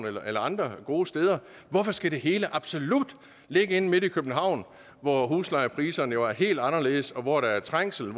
eller eller andre gode steder hvorfor skal det hele absolut ligge inde midt i københavn hvor huslejepriserne jo er helt anderledes hvor der er trængsel